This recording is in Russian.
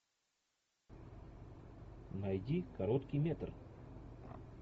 найди короткий метр